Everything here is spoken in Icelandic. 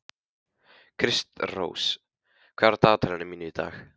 Kristrós, hvað er á dagatalinu mínu í dag?